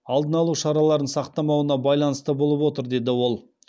алдын алу шараларын сақтамауына байланысты болып отыр деді ол